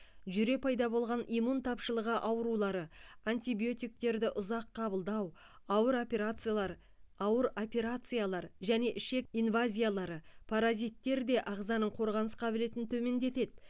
жүре пайда болған иммун тапшылығы аурулары антибиотиктерді ұзақ қабылдау ауыр операциялар ауыр операциялар және ішек инвазиялары паразиттер де ағзаның қорғаныс қабілетін төмендетеді